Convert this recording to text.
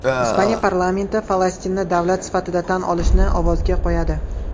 Ispaniya parlamenti Falastinni davlat sifatida tan olishni ovozga qo‘yadi.